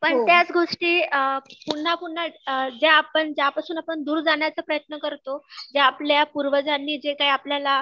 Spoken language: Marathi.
पण त्याच गोष्टी अ पुन्हा पुन्हा अ ज्या आपण ज्या पासून दूर जाण्याचा प्रयत्न करतो जे आपल्या पूर्वजांनी जे काही आपल्या